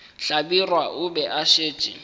hlabirwa o be a šetše